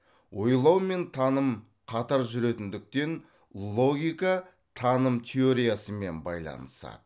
ойлау мен таным қатар жүретіндіктен логика таным теориясымен байланысады